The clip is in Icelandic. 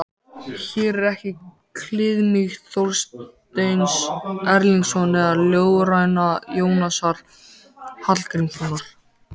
Hér er ekki kliðmýkt Þorsteins Erlingssonar eða ljóðræna Jónasar Hallgrímssonar.